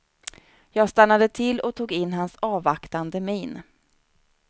Jag stannade till och tog in hans avvaktande min.